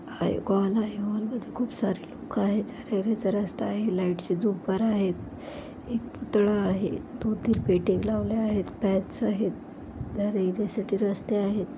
हा एक हॉल आहे हॉल मध्ये खूप सारे लोक आहेत जाण्या-येण्याचा रस्ता आहे लाइट चे जुमर आहेत एक पुतळा आहे दोन तीन आहेत आहेत. जाण्या-येण्यासाठी रस्ते आहेत.